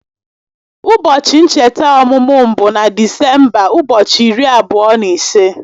Ụbọchị ncheta ọmụmụ m bụ na Disemba ụbọchị iri abụọ na ise